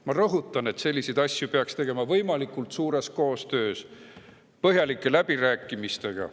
Ma rõhutan, et selliseid asju peaks tegema võimalikult suures koostöös, põhjalike läbirääkimistega.